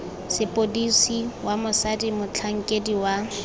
sepodisi wa mosadi motlhankedi wa